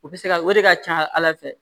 O bɛ se ka o de ka ca ala fɛ